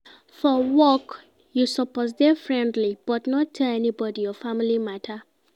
For work, you suppose dey friendly but no tell anybodi your family mata.